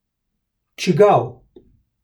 Čigav?